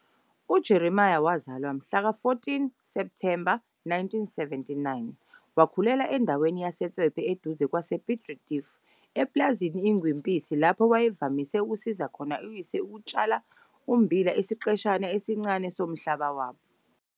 UJeremia wazalwa mhla ka-14 Septhemba 1979. Wakhulela endaweni yaseSwepe eduze kwase-Piet Retief epulazini iNgwempisi lapho wayevamise ukusiza khona uyise ekutshaleni ummbila esiqeshini esincane somhlaba wabo.